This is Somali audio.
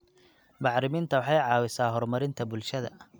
Bacriminta waxay caawisaa horumarinta bulshada.